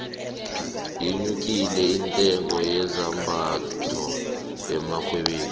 yenyukile intengo yezambayho emarhwebeni